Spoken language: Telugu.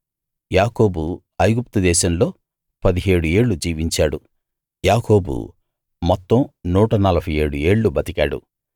యాకోబు ఐగుప్తుదేశంలో 17 ఏళ్ళు జీవించాడు యాకోబు మొత్తం 147 ఏళ్ళు బతికాడు